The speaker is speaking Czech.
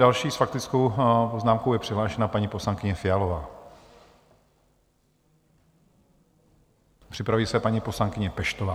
Další s faktickou poznámkou je přihlášena paní poslankyně Fialová, připraví se paní poslankyně Peštová.